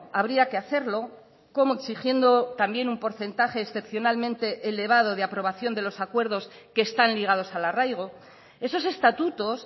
habría que hacerlo cómo exigiendo también un porcentaje excepcionalmente elevado de aprobación de los acuerdos que están ligados al arraigo esos estatutos